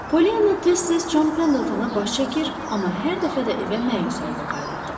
Pollyanna tez-tez Con Pendeltona baş çəkir, amma hər dəfə də evə məyus halda qayıdırdı.